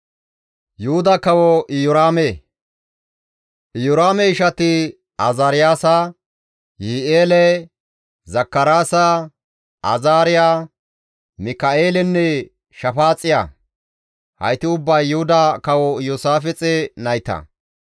Iyoraame ishati Azaariyaasa, Yihi7eele, Zakaraasa, Azaariya, Mika7eelenne Shafaaxiya; hayti ubbay Yuhuda Kawo Iyoosaafixe nayta.